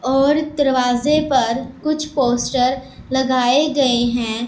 और दरवाजे पर कुछ पोस्टर लगाए गएं हैं।